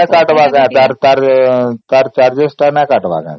ଆଉ କାଟିବନି ନା ତା charges ଟା